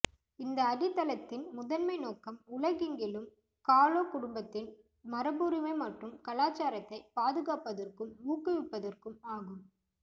இந்த அடித்தளத்தின் முதன்மை நோக்கம் உலகெங்கிலும் காலோ குடும்பத்தின் மரபுரிமை மற்றும் கலாச்சாரத்தை பாதுகாப்பதற்கும் ஊக்குவிப்பதற்கும் ஆகும்